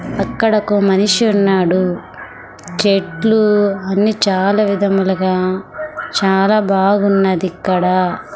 అక్కడ ఒక మనిషి ఉన్నాడు చెట్లు అన్ని చాలా విధములుగా చాలా బాగున్నది ఇక్కడ.